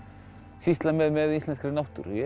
sýsla með í íslenskri náttúru ég